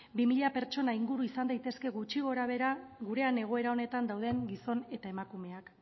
bi mila pertsona inguru izan daitezke gutxi gora behera gurean egoera honetan dauden gizon eta emakumeak